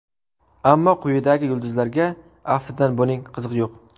Ammo quyidagi yulduzlarga aftidan buning qizig‘i yo‘q.